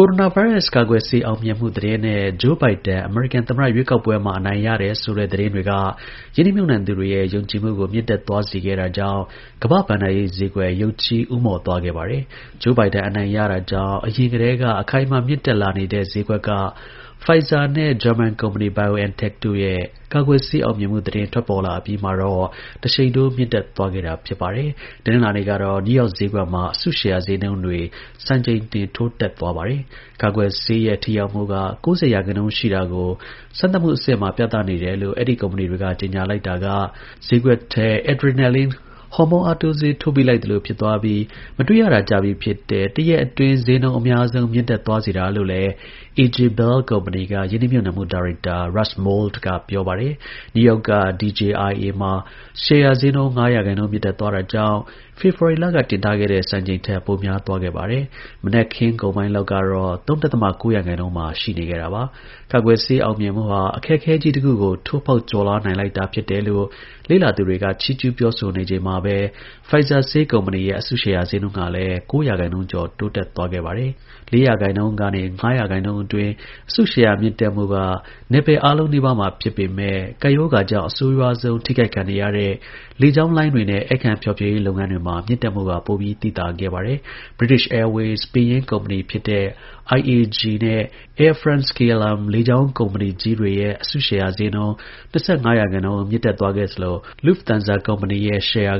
ိုရိုနာဗိုင်းရပ်ကာကွယ်ဆေး အောင်မြင်မှု သတင်းနဲ့ Joe Biden အမေရိကန် သမ္မတ ရွေးကောက်ပွဲမှာ အနိုင်ရရှိတယ်ဆိုတဲ့ သတင်း တွေက ရင်းနှီးမြှုပ်နှံသူတွေရဲ့ ယုံကြည်မှုကို မြင့်တက်သွားစေခဲ့တာကြောင့် ကမ္ဘာ့ဘဏ္ဍာရေးဈေးကွက်ရုတ်ချည်း ဦးမော့သွားပါတယ်။ Joe Biden အနိုင်ရတာကြောင့် ယခင်ကတည်းက အခိုင်အမာ မြင့်တက်လာနေတဲ့ ဈေးကွက်က Pfizerနဲ့ ဂျာမန်ကုမ္ပဏီ BioNTechတို့ ရဲ့ ကာကွယ်ဆေး အောင်မြင်မှု သတင်း ထွက်ပေါ်လာအပြီးမှာတော့ တစ်ရှိန်ထိုး မြင့်တက်သွားခဲ့တာပါ။ တနင်္လာနေ့ကတော့ နယူးယောက် ဈေးကွက်မှာ အစုရှယ်ယာဈေးနှုန်းတွေ စံချိန်တင် ထိုးတက်သွားခဲ့ပါတယ်။ ကာကွယ်ဆေးရဲ့ ထိရောက်မှုက ၉၀ ရာခိုင်နှုန်း ရှိတာကို စမ်းသပ်မှု အဆင့် ၃ မှာ ပြသနေတယ်လို့ အဲဒီ ကုမ္ပဏီတွေက ကြေညာလိုက်တာက ဈေးကွက်ထဲ Adrenaline ဟော်မုန်း အားတိုးဆေး ထိုးပေးလိုက်သလို ဖြစ်သွားပြီး မတွေ့ရတာ ကြာပြီ ဖြစ်တဲ့ တစ်ရက်အတွင်း ဈေးနှုန်း အများဆုံး မြင့်တက်သွားစေတာလို့လည်းAJ Bellကုမ္ပဏီ က ရင်းနှီး မြှုပ်နှံမှု ဒါရိုက်တာ Russ Mould က ပြောပါတယ်။ နယူးယောက်က DJIAမှာ ရှယ်ယာ ဈေးနှုန်း ၅ ရာခိုင်နှုန်း မြင့်တက်သွားတာကြောင့် ဖေဖော်ဝါရီလက တင်ထားခဲ့တဲ့ စံချိန်ထက် ပိုများသွားခဲ့ပါတယ်။ မနက်ခင်းကုန်ပိုင်းလောက်ကတော့ ၃.၉ ရာခိုင်နှုန်းမှာ ရှိနေခဲ့တာပါ။ ကာကွယ်ဆေး အောင်မြင်မှုဟာ အခက်အခဲကြီးတစ်ခုကို ထိုးဖောက်ကျော်လွှားနိုင်လိုက်တာ ဖြစ်တယ်လို့ လေ့လာ သုံးသပ်သူတွေ က ချီးကျူး ပြောဆိုနေချိန်မှာပဲ Pfizerဆေးကုမ္ပဏီရဲ့ အစုရှယ်ယာဈေးနှုန်းကလည်း ၉ ရာခိုင်နှုန်းကျော် ထိုးတက်သွားပါတယ်။ ၄ ရာခိုင်နှုန်းကနေ ၅ ရာခိုင်နှုန်းအတွင်း အစုရှယ်ယာ မြင့်တက်မှုက နယ်ပယ်အားလုံးနီးပါးမှာ ဖြစ်ပေမဲ့ ကပ်ရောဂါကြောင့် အဆိုး ရွားဆုံး ထိခိုက်ခံနေရတဲ့ လေကြောင်းလိုင်းတွေနဲ့ ဧည့်ခံဖျော်ဖြေရေးလုပ်ငန်းတွေမှာ မြင့်တက်မှုက ပိုပြီး သိသာခဲ့ပါတယ်။ British Airways ပင်ရင်း ကုမ္ပဏီဖြစ်တဲ့ IAG နဲ့Air France-KLM လေကြောင်း ကုမ္ပဏီကြီးတွေရဲ့ အစုရှယ်ယာဈေးနှုန်း ၂၅ ရာခိုင်နှုန်း မြင့်တက်သွားခဲ့သလို Lufthansa ကုမ္ပဏီ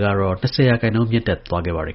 ကတော့ ၂၀ ရာခိုင်နှုန်း မြင့်တက်ခဲ့ပါတယ်